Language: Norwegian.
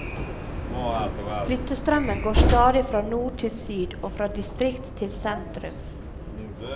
Flyttestrømmen går stadig fra nord til syd og fra distrikt til sentrum.